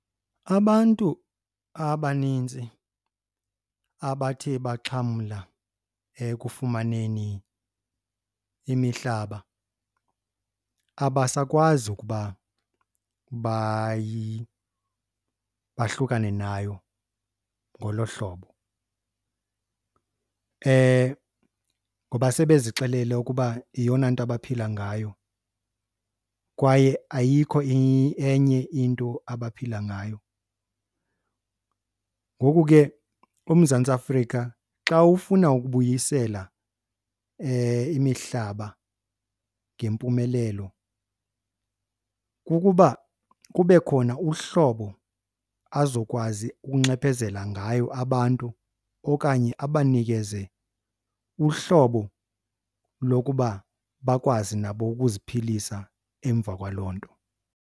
Abantu abanintsi abathe baxhamla ekufumaneni imihlaba abasakwazi ukuba bahlukane nayo ngolo hlobo ngoba sebe zixelele ukuba yiyona nto abaphila ngayo kwaye ayikho enye into abaphila ngayo. Ngoku ke uMzantsi Afrika xa ufuna ukubuyisela imihlaba ngempumelelo, kukuba kube khona uhlobo azokwazi ukunxephezela ngayo abantu okanye abanikeze uhlobo lokuba bakwazi nabo ukuziphilisa emva kwaloo nto.